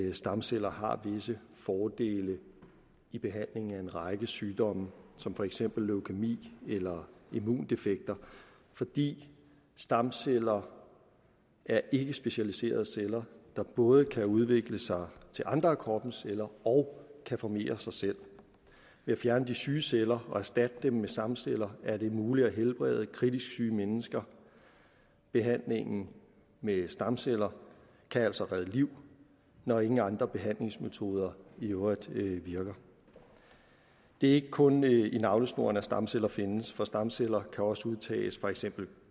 at stamceller har visse fordele i behandlingen af en række sygdomme som for eksempel leukæmi eller immundefekter fordi stamceller er ikkespecialiserede celler der både kan udvikle sig til andre af kroppens celler og kan formere sig selv ved at fjerne de syge celler og erstatte dem med stamceller er det muligt at helbrede kritisk syge mennesker behandlingen med stamceller kan altså redde liv når ingen andre behandlingsmetoder i øvrigt virker det er ikke kun i navlesnoren at stamceller findes for stamceller kan også udtages for eksempel